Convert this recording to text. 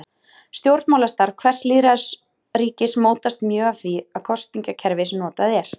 Stjórnmálastarf hvers lýðræðisríkis mótast mjög af því kosningakerfi sem notað er.